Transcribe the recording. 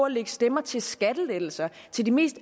lægge stemmer til skattelettelser til de mest